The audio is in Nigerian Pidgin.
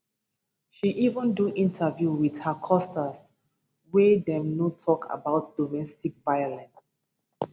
she even do interview wit her costars wey dem no tok about domestic violence